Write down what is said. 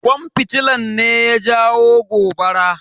Kwan fitilan ne ya jawo gobara.